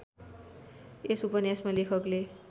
यस उपन्यासमा लेखकले